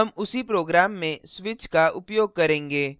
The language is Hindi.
हम उसी program में switch का उपयोग करेंगे